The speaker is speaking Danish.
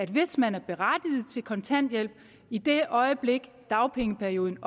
hvis man er berettiget til kontanthjælp i det øjeblik dagpengeperioden